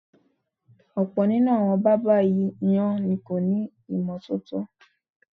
Ò̩pò̩ nínú àwo̩n bábà ye̩n ni kò ní ìmó̩tótó.